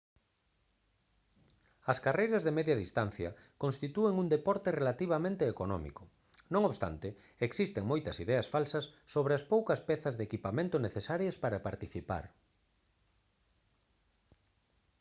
as carreiras de media distancia constitúen un deporte relativamente económico non obstante existen moitas ideas falsas sobre as poucas pezas de equipamento necesarias para participar